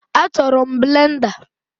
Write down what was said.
Achọrọ m blenda